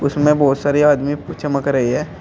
बहोत सारे आदमी चमक रहे है।